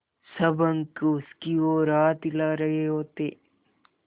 सब अंक उसकी ओर हाथ हिला रहे होते